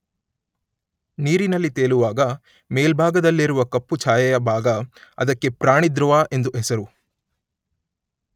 ನೀರಿನಲ್ಲಿ ತೇಲುವಾಗ ಮೇಲ್ಭಾಗದಲ್ಲಿರುವ ಕಪ್ಪು ಛಾಯೆಯ ಭಾಗ, ಅದಕ್ಕೆ ಪ್ರಾಣಿಧೃವ ಎಂದು ಹೆಸರು.